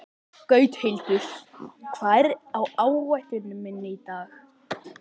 Gauthildur, hvað er á áætluninni minni í dag?